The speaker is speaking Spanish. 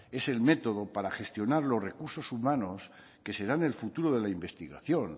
es el método para gestionar los recursos humanos que serán el futuro de la investigación